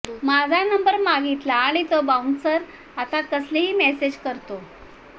माझा नंबर मागितला आणि तो बाऊन्सर आता कसलेही मेसेज करतो